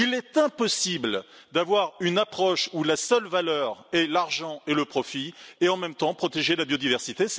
Il est impossible d'avoir une approche où les seules valeurs sont l'argent et le profit et en même temps protéger la biodiversité.